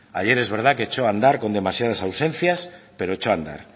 ayer es verdad que echó a andar con demasiadas ausencias pero echó a andar